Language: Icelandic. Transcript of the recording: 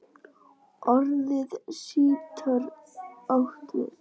Orðið sítar átt við